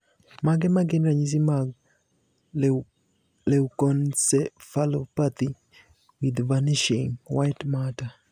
Mage magin ranyisi mag Leukoencephalopathy with vanishing white matter?